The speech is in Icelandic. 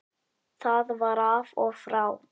Það var af og frá.